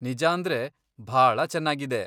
ನಿಜಾಂದ್ರೆ, ಭಾಳ ಚೆನ್ನಾಗಿದೆ.